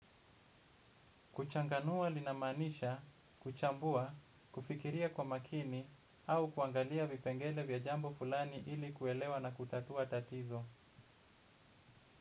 Kuchanganua linamaanisha kuchambua, kufikiria kwa makini, au kuangalia vipengele vya jambo fulani ili kuelewa na kutatua tatizo.